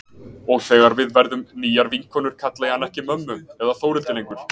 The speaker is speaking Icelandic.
Og þegar við verðum nýjar vinkonur kalla ég hana ekki mömmu eða Þórhildi lengur.